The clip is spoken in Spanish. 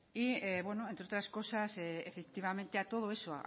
entre otras cosas efectivamente a todo eso